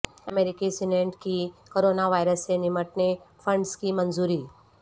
امریکی سینیٹ کی corona virus سے نمٹنے فنڈس کی منظوری